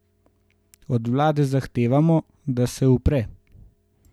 Od vlade zahtevamo, da se upre.